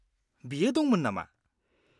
बियो दंमोन नामा?